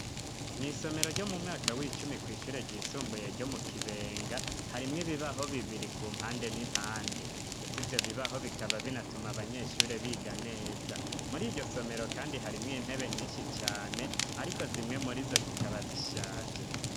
Mw'isomero ryo mu mwaka w'icumi ku ishure ryisumbuye ryo mu kibenga harimwo bibaho bibiri ku mpande n'impande ndetse ibyo bibaho bikaba binatuma abanyeshure biga neza muri iryo somero kandi harimwe intebe nyinshi cane ariko zimwe muri zo zikaba zishaje.